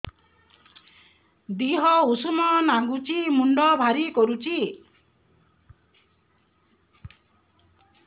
ଦିହ ଉଷୁମ ନାଗୁଚି ମୁଣ୍ଡ ଭାରି କରୁଚି